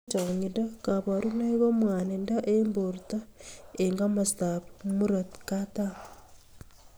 Eng changindo kabarunoik ko mwanindo eng borto eng imasta ab murito katam.